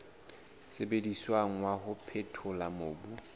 sebediswang wa ho phethola mobu